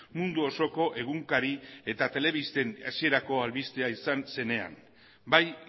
mundu osoko egunkari eta telebisten hasierako albistea izan zenean bai